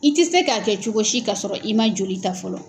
I tɛ se k'a kɛ cogo si ka sɔrɔ i man joli ta fɔlɔ.